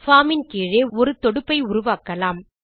form இன் கீழ் ஒரு தொடுப்பை உருவாக்கலாம்